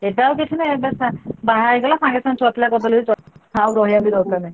ଏବେ ଆଉ କିଛି ନାହିଁ, ଏବେ ବାହା ହେଇଗଲା ସାଙ୍ଗେ ସାଙ୍ଗେ ଛୁଆପିଲା କରିଦେଲେ ବି ଚଳିବ, ଆଉ ରହିଆ ଦରକାର ନାହିଁ।